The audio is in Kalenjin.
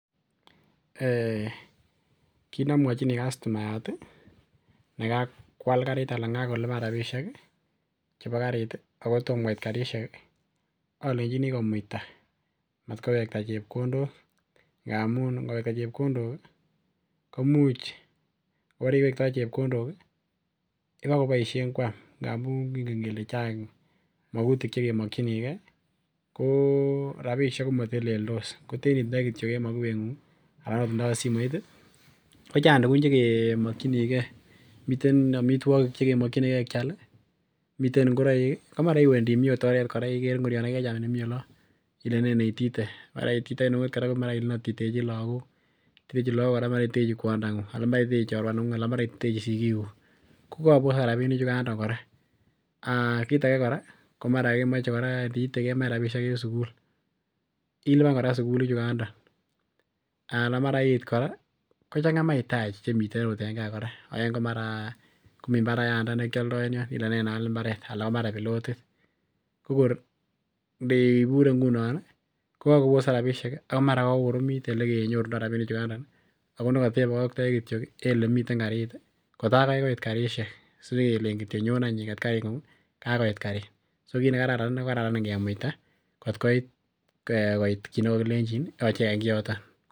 Kinamwachini kastomayat ne kab kual karit anan kokoluban rabisiek ihchebo karit ako tomo koit karisiek ih alenchini komuaita anan kowekta chebkondok amuun atkowekta chebkondok koimuch kobokoboisien Kuam ngamun Chang magutik chekemokininke ko rabisiek ko mateleltos koten itindoi kityo en mokubeng'ung anan ndo akot simoit ko Chang tugun chekemokininge , miten amituakik chekemokinige kial ih , miten ingoraik anan imuche iwe baka oret komi ngoriet nekechamilenene itite, maraititoi Ile atitechi lakok anan maraititechi kwondong'ung kokabosak rabinik chugan kora komara iniite kemoe rabinik en sugul iluban kora sugul ichukanda anan maraiit kora komii mbara yanda nekialda enion Ile nenaal mbaret anan pilotit kokor inebure ngunon kokabosak rabinik komara kokoromot elekenyorundo rabinik chugan ako nekatebokoktoi kityo en elemiten karit kotagai koit karisiek sinyekelein kityo nyoon eny iket karingu kakoit karit, so kinekararan inei kararan ingemuita kotkoit kioto